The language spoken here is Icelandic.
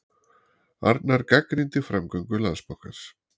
Arnar gagnrýndi framgöngu Landsbankans